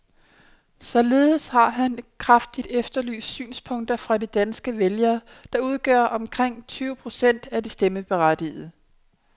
Således har han kraftigt efterlyst synspunkter fra de danske vælgere, der udgør omkring tyve procent af de stemmeberettigede.